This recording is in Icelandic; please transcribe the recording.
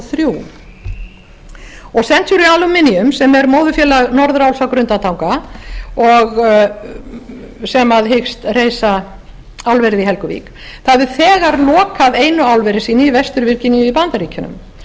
þrjú og century aluminium sem er móðurfélag norðuráls á grundartanga og sem hyggst reisa álverið í helguvík það hefur þegar lokað einu álveri sínu í vestur virginíu í bandaríkjunum